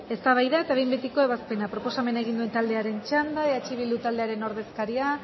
eztabaida eta behin betiko ebazpena proposamena egin duen taldearen txanda eh bildu taldearen ordezkaria